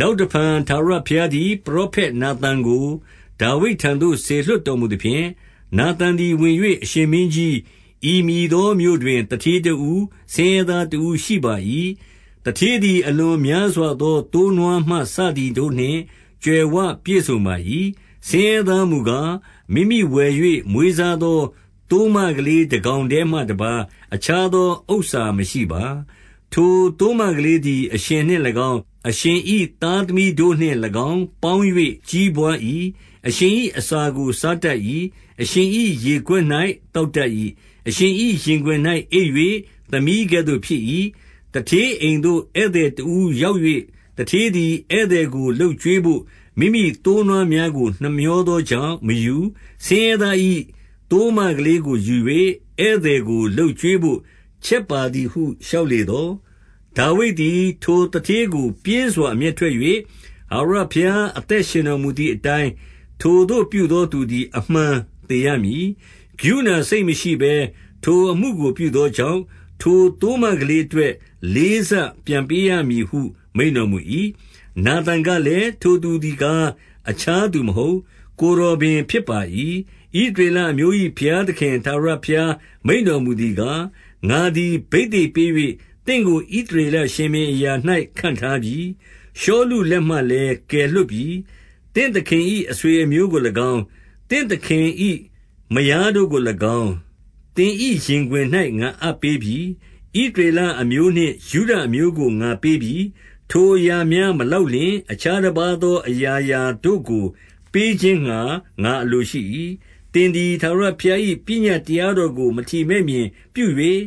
နောက်တဖန် ထာဝရဘုရားသည် ပရောဖက် နာသန်ကို ဒါဝိဒ်ထံသို့ စေလွှတ်တော်မူသဖြင့်၊ နာသန် သည်ဝင်၍၊ အရှင်မင်းကြီး၊ ဤမည်သောမြို့တွင် သူဌေးတဦး၊ ဆင်းရဲသားတဦးရှိပါ၏။ 2 သူဌေးသည် အလွန်များစွာသော သိုးနွားမှ စသည်တို့နှင့် ကြွယ်ဝပြည့်စုံပါ၏။ 3 ဆင်းရဲသားမူကား၊ မိမိဝယ်၍ မွေးစားသော သိုးမကလေးတကောင်တည်းမှ တပါးတခြားသော ဥစ္စာ မရှိပါ။ ထိုသိုးမကလေးသည် အရှင်နှင့်၎င်း၊ အရှင်၏ သားသမီးတို့နှင့်၎င်း ပေါင်း၍ ကြီးပွား၏။ အရှင်၏ အစာကို စားတတ်၏။ အရှင်၏ရေခွက်၌သောက်တတ်၏။ အရှင်၏ ရင်ခွင်၌ အိပ်၍ သမီးကဲ့သို့ ဖြစ်၏။ 4 သူဌေးအိမ်သို့ ဧည့်သည်တဦးရောက်၍ သူဌေးသည် ဧည့်သည်ကို လုပ်ကျွေးဘို့ မိမိသိုးနွားများကို နှမြော သောကြောင့် မယူ၊ ဆင်းရဲသား၏သိုးမကလေးကိုယူ၍ ဧည့်သည်ကို လုပ်ကျွေးဘို့ ချက်ပါသည်ဟု လျှောက်လေသော်၊ 5 ဒါဝိဒ်သည် ထိုသူဌေးကိုပြင်းစွာအမျက်ထွက်၍၊ ထာဝရဘုရား အသက်ရှင်တော်မူသည်အတိုင်း ထိုသို့ ပြုသောသူသည် အမှန်သေရမည်။ 6 ကရုဏစိတ်မရှိဘဲထိုအမှုကိုပြုသောကြောင့်၊ ထိုသိုးမကလေးအတွက် လေးဆပြန်ပေးရမည်ဟု မိန့် တော်မူ၏။ 7 နာသန်ကလည်း၊ ထိုသူသည်ကား အခြားသူမဟုတ်။ ကိုယ်တော်ပင် ဖြစ်ပါ၏။ ဣသရေလအမျိုး၏ ဘုရးသခင်ထာဝရဘုရား မိန့်တော်မူသည်ကား၊ ငါသည် ဘိသိက်ပေး၍ သင့်ကို ဣသရေလရှင်ဘုရင်အရာ၌ ခန့်ထားပြီ။ ရှောလုလက်မှလည်း ကယ်လွှတ်ပြီ။ 8 သင့်သခင်၏ အဆွေအမျိုးကို၎င်း၊ သင့်သခင်၏ မယားတို့ကို၎င်း၊ သင်၏ရင်ခွင်၌ ငါအပ်ပေးပြီ။ ဣသ ရေလအမျိုးနှင့် ယုဒအမျိုးကို ငါပေးပြီ။ ထိုအရာများ မလောက်လျှင် အခြားတပါးသောအရာရာတို့ကို ပေးခြင်း ငှါ ငါအလိုရှိ၏။ 9 သင်သည်ထာဝရဘုရား၏ ပညတ်တရားတော်ကို မထီမဲ့မြင်ပြု၍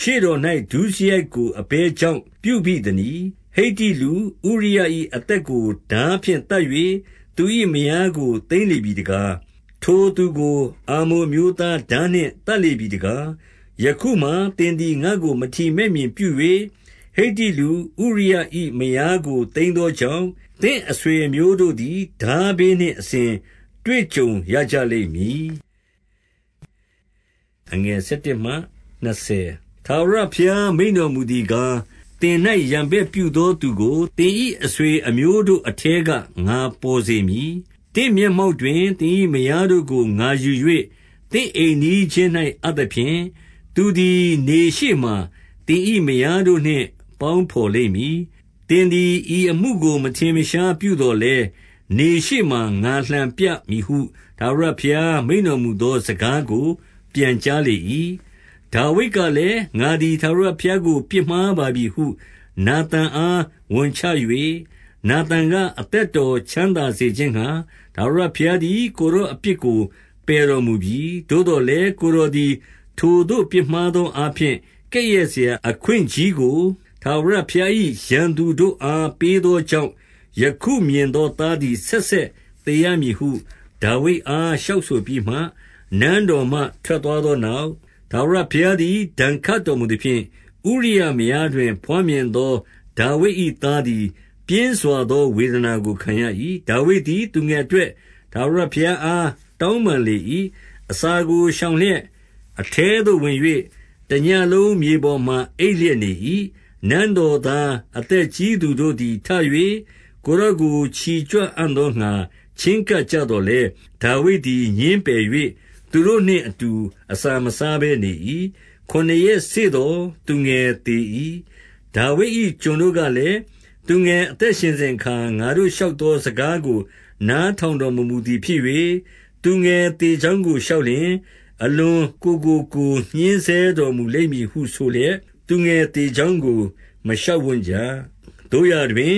ရှေ့တော်၌ဒုစရိုက်ကို အဘယ်ကြောင့် ပြုဘိသနည်း။ ဟိတ္တိလူ၊ ဥရိယ၏အသက်ကို ထားဖြင့်သတ်၍ သူ၏မယားကို သိမ်းလေပြီတကား။ ထိုသူကို အမ္မုန်အမျိုးသား ထားနှင့်သတ်လေပြီတကား။ 10 ယခုမှာသင်သည် ငါ့ကို မထီမဲ့မြင်ပြု၍ ဟိတ္တိလူ၊ ဥရိယ၏မယားကို သိမ်းသောကြောင့်၊ သင့်အဆွေအမျိုးတို့သည် ထားဘေးနှင့်အစဉ် တွေ့ကြုံရကြလိမ့်မည်။ 11 ထာဝရဘုရားမိန့်တော်မူသည်ကား၊ သင်၌ ရန်ဘက်ပြုသော သူကို သင်၏အဆွေအမျိုးတို့အထဲက ငါပေါ်စေမည်။ သင့်မျက်မှောက်တွင် သင်၏မယားတို့ကို ငါယူ၍ သင့်အိမ်နီးချင်း၌အပ်သဖြင့်၊ သူသည် နေရှေ့မှာ သင်၏မယားတို့နှင့် ပေါင်းဘော်လိမ့်မည်။ 12 သင်သည် ဤအမှုကိုမထင်မရှားပြုသော်လည်း၊ နေရှေ့မှာ ငါလှန်ပြမည်ဟု ထာဝရဘုရားမိန့်တော် မူသော စကားကိုပြန်ကြားလေ၏။ 13 ဒါဝိဒ်ကလည်း၊ ငါသည် ထာဝရဘုရားကို ပြစ်မှားပါပြီဟု နာသန်အား ဝန်ချ၍ နာသန်က၊ အသက် တော်ကို ချမ်းသာစေခြင်းငှါ၊ တာဝရဘုရားသည် ကိုယ်တော်အပြစ်ကို ပယ်တော်မူပြီ။ 14 သို့သော်လည်း ကိုယ်တော်သည် ထိုသို့ပြစ်မှား သောအားဖြင့်၊ ကဲ့ရဲ့စရာအခွင့်ကြီးကို ထာဝရဘုရား၏ ရန်သူတို့အားပေးသောကြောင့်၊ ယခုမြင်သောသားသည် ဆက်ဆက်သေရမည်ဟု ဒါဝိဒ်အားလျှောက် ဆိုပြီးလျှင်၊ 15 နန်းတော်မှ ထွက်သွားသောနောက်၊ ထာဝရဘုရားသည် ဒဏ်ခတ်တော်မူသဖြင့်၊ ဥရိယမယားတွင် ဘွားမြင်သော ဒါဝိဒ်၏သားသည် ပြင်းစွာသော ဝေဒနာကို ခံရ၏။ 16 ဒါဝိဒ်သည် သူငယ်အတွက် ထာဝရဘုရားအား တောင်းပန်လေ၏။ အစာကိုရှောင်လျက်၊ အထဲသို့ဝင်၍ တညဉ့်လုံးမြေပေါ်မှာ အိပ်လျက်နေ၏။ 17 နန်းတော်သား အသက်ကြီးသူတို့သည်ထ၍ ကိုယ်တော်ကို ချီကြွအံ့သောငှါ ချဉ်းကပ်ကြသော်လည်း၊ ဒါဝိဒ်သည် ငြင်းပယ်၍ သူတို့နှင့်အတူ အစာမစားဘဲနေ၏။ 18 ခုနစ်ရက်စေ့သော် သူငယ်သေ၏။ ဒါဝိဒ်၏ ကျွန်တို့ကလည်း၊ သူငယ်အသက်ရှင်စဉ်အခါ ငါတို့ လျှောက်သော စကားကိုနားထောင်တော်မမူသည်ဖြစ်၍၊ သူငယ်သေကြောင်းကို လျှောက်လျှင် အလွန်ကိုယ်ကို ကိုယ်ညှဉ်းဆဲတော်မူလိမ့်မည်ဟုဆိုလျှက် သူငယ် သေကြောင်းကို မလျှောက်ဝံ့ကြ။ 19 သို့ရာတွင်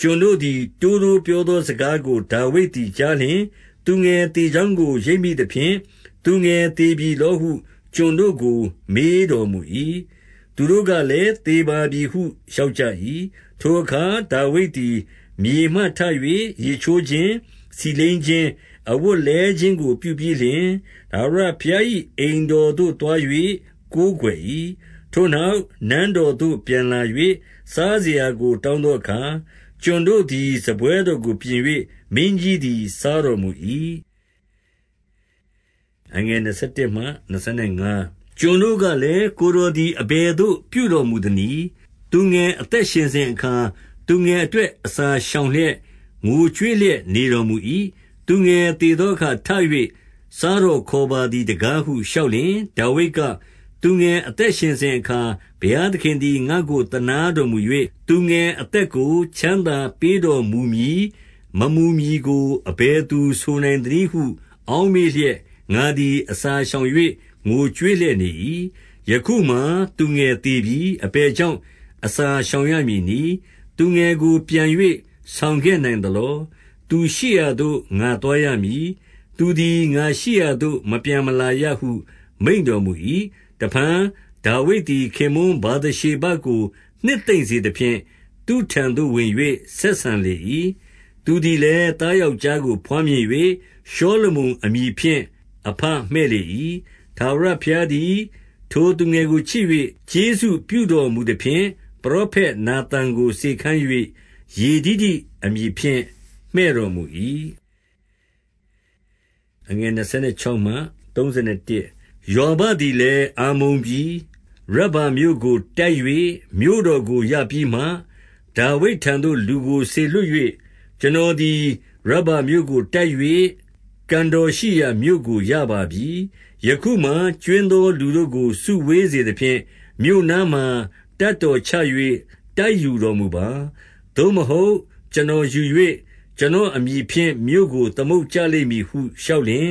ကျွန်တို့သည် တိုးတိုးပြောသောစကားကို ဒါဝိဒ်သည် ကြားလျှင်၊ သူငယ်သေကြောင်းကို ရိပ်မိသဖြင့်၊ သူငယ်သေပြီလောဟု ကျွန်တို့ကို မေးတော်မူ၏။ သူတို့ကလည်းသေပါပြီဟု လျှောက်ကြ၏။ 20 ထိုအခါ ဒါဝိဒ်သည် မြေမှထ၍ ရေချိုးခြင်း၊ ဆီလိမ်းခြင်း၊ အဝတ်လဲခြင်းကို ပြုပြီးလျှင်၊ ထာဝရဘုရား ၏ အိမ်တော်သို့သွား၍ ကိုးကွယ်၏။ ထိုနောက် နန်းတော်သို့ ပြန်လာ၍ စားစရာကိုတောင်းသောအခါ၊ ကျွန်တို့ သည် စားပွဲတော်ကိုပြင်၍ မင်းကြီးသည် စားတော်မူ၏။ 21 ကျွန်တို့ကလည်း၊ ကိုယ်တော်သည် အဘယ်သို့ ပြုတော်မူသနည်း။ သူငယ်အသက်ရှင်စဉ်အခါ၊ သူငယ် အတွက် အစာရှောင်လျက် ငိုကြွေးလျက် နေတော်မူ၏။ သူငယ်သေသောအခါထ၍ စားတော်ခေါ်ပါသည်တကားဟု လျှောက်လျှင်၊ 22 ဒါဝိဒ်က၊ သူငယ်အသက်ရှင်စဉ်အခါ ဘုရားသခင်သည် ငါ့ကို သနားတော်မူ၍၊ သူငယ်အသက်ကို ချမ်းသာပေးတော်မမူမည်ကို အဘယ်သူ ဆိုနိုင်သနည်းဟု အောက်မေ့လျက် ငါသည် အစာရှောင်၍ ငိုကြွေး လျက်နေ၏။ 23 ယခုမှာသူငယ်သေပြီ။ အဘယ်ကြောင့် အစာရှောင်ရမည်နည်း။ သူငယ်ကိုပြန်၍ ဆောင်ခဲ့နိုင်သလော။ သူရှိရာသို့ ငါသွားရမည်။ သူသည် ငါရှိရာသို့ မပြန်မလာ ရဟု မိန့်တော်မူ၏။ 24 တဖန်ဒါဝိဒ်သည် ခင်ပွန်းဗာသရှေဘကို နှစ်သိမ့်စေသဖြင့်၊ သူ့ထံသို့ဝင်၍ ဆက်ဆံလေ၏။ သူ သည်လည်း သားယောက်ျားကို ဘွားမြင်၍ ရှောလမုန်အမည်ဖြင့် အဘမှည့်လေ၏။ 25 ထာဝရဘုရားသည် ထိုသူငယ်ကိုချစ်၍ ကျေးဇူးပြုတော်မူသဖြင့်၊ ပရောဖက်နာသန်ကို စေခိုင်း၍ ယေဒိဒိ အမည်ဖြင့် မှည့်တော်မူ၏။ 26 ယွာဘသည်လည်း အမ္မုန်ပြည်၊ ရဗ္ဗာမြို့ကို တိုက်၍ မြို့တော်ကို ရပြီးမှ၊ 27 ဒါဝိဒ်ထံတော်သို့လူကို စေလွှတ်၍၊ ကျွန်တော်သည် ရဗ္ဗာမြို့ကို တိုက်၍ ကန်တော်ရှိရာမြို့ကိုရပါပြီ။ 28 ယခုမှာကြွင်းသော လူတို့ကို စုဝေးစေသဖြင့်၊ မြို့နားမှာ တပ်တော်ချ၍ တိုက်ယူတော်မူပါ။ သို့မဟုတ် ကျွန်တော်ယူ၍ ကျွန်တော်အမည်ဖြင့် မြို့ကို သမုတ်ကြ လိမ့်မည်ဟု လျှောက်လျှင်၊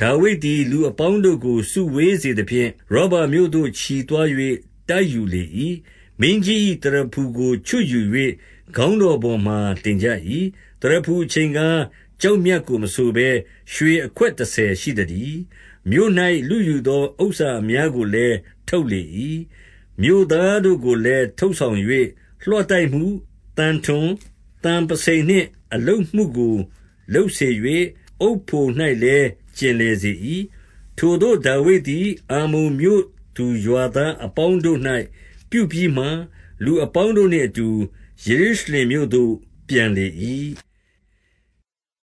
29 ဒါဝိဒ်သည် လူအပေါင်းတို့ကို စုဝေးစေသဖြင့်၊ ရဗ္ဗာမြို့သို့ ချီသွား၍ တိုက်ယူလေ၏။ 30 မင်းကြီး၏သရဖူကို ချွတ်ယူ၍ ခေါင်းတော်ပေါ် မှာတင်ကြ၏။ သရဖူအချိန်ကား ကျောက်မြတ်ကို မဆိုဘဲ ရွှေအခွက်တဆယ်ရှိသတည်း။ မြို့၌လုယူသော ဥစ္စာ အများကိုလည်း ထုတ်လေ၏။ 31 မြို့သားတို့ကိုလည်း ထုတ်ဆောင်၍ လွှတိုက်မှု၊ သံထွန်၊ သံပုဆိန်နှင့်အလုပ်မှုကို လုပ်စေ၍ အုတ်ဖို၌ လည်း ကျင်လည်စေ၏။ ထိုသို့ ဒါဝိဒ်သည် အမ္မုန်မြို့သူ ရွာသားအပေါင်းတို့၌ ပြုပြီးမှ၊ လူအပေါင်းတို့နှင့်အတူ ယေရုရှင်လင်မြို့သို့ ပြန်လေ၏။